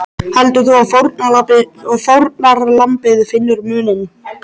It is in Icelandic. Heldur þú að fórnarlambið finni muninn?